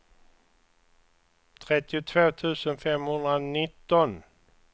trettiotvå tusen femhundranitton